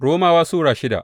Romawa Sura shida